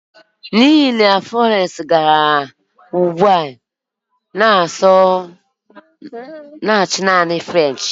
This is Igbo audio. N'ihi na Florence gara Huwaii, ọ na-asụ naanị French